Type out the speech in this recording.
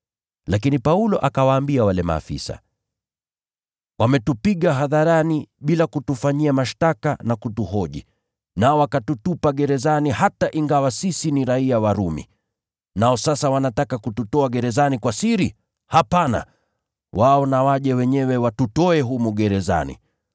Lakini Paulo akawaambia wale maafisa, “Wametupiga hadharani bila kutufanyia mashtaka na kutuhoji, nao wakatutupa gerezani, hata ingawa sisi ni raiya wa Rumi. Nao sasa wanataka kututoa gerezani kwa siri? Hapana! Wao na waje wenyewe watutoe humu gerezani.”